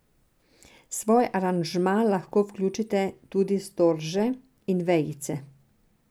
V svoj aranžma lahko vključite tudi storže in vejice.